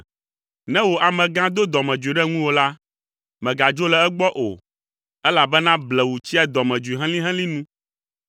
Ne wò amegã do dɔmedzoe ɖe ŋuwò la, mègadzo le egbɔ o, elabena blewu tsia dɔmedzoe helĩhelĩ nu.